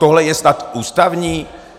Tohle je snad ústavní?